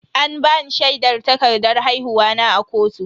An bani shaidar takardan haihuwa na a kotu.